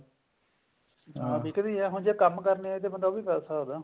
ਹਾਂ ਜੀ ਬਿਕਦੀ ਹੈ ਜੇ ਕੰਮ ਕਰਨਾ ਹੈ ਤੇ ਬੰਦਾ ਉਹ ਵੀ ਕਰ ਸਕਦਾ